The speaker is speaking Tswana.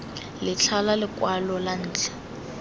letlha la lekwalo la ntlha